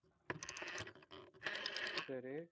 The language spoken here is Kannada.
ಸರಿ